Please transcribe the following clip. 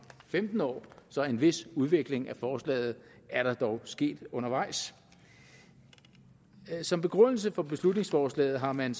femten år så en vis udvikling af forslaget er der dog sket undervejs som begrundelse for beslutningsforslaget har man